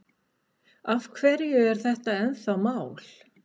Af hverju er þetta ennþá mál?